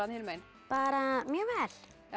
hinum megin bara mjög vel